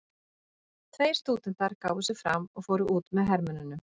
Tveir stúdentar gáfu sig fram og fóru út með hermönnunum.